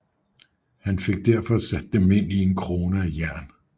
Han fik derfor sat dem ind i en krone af jern